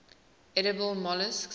edible molluscs